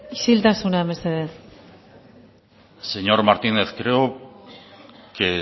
isiltasuna mesedez señor martínez creo que